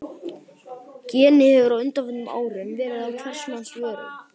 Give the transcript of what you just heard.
Genið hefur á undanförnum árum verið á hvers manns vörum.